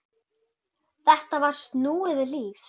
Þetta var snúið líf.